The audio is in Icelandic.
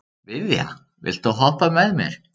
Viðja, viltu hoppa með mér?